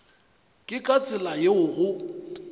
ke ka tsela yeo go